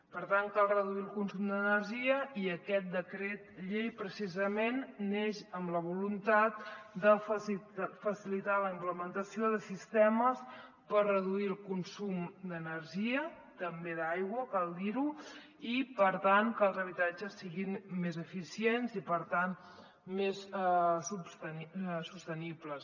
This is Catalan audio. per tant cal reduir el consum d’energia i aquest decret llei precisament neix amb la voluntat de facilitar la implementació de sistemes per reduir el consum d’energia també d’aigua cal dir ho i per tant que els habitatges siguin més eficients i per tant més sostenibles